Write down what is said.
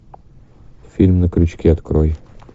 фильм на крючке открой